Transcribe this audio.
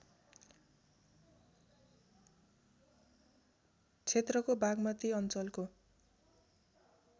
क्षेत्रको बागमती अञ्चलको